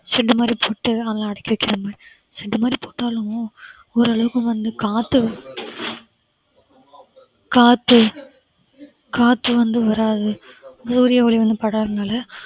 shed மாதிரி போட்டு அதுல அடக்கி வைக்கிற மாதிரி shed மாதிரி போட்டாலும் ஓரளவுக்கு வந்து காத்து காத்து காத்து வந்து வராது சூரிய ஒளி வந்து படாததுனால